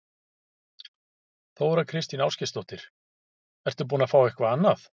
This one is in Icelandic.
Þóra Kristín Ásgeirsdóttir: Ertu búinn að fá eitthvað annað?